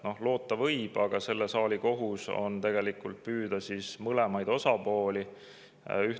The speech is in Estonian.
Noh, loota võib, aga selle saali kohus on tegelikult püüda mõlema osapoole.